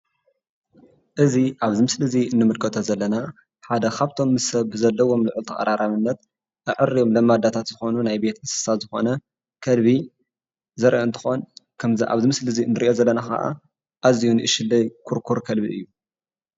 እዚ ኣብዚ ምስሊ እዚ እንምልከቶ ዘለና ሓደ ካብቶም ምስ ሰብ ብዘለዎም ልዑል ተቐራራብነት አዕርዮም ለማዳታት ዝኾኑ ናይ ቤት እንስሳ ዝኾነ ከልቢ ዘርኢ እንትኾን ከምዚ ኣብዚ ምስሊ ንሪኦ ዘለና ከዓ ኣዝዪ ንኡሽትለይ ኩርኩር ከልቢ እዩ፡፡